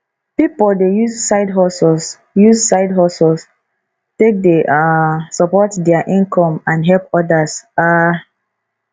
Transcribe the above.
pipo dey use sidehustles use sidehustles take dey um support dia income and help odas um